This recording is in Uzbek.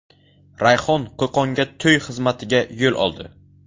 Rayhon Qo‘qonga to‘y xizmatiga yo‘l oldi.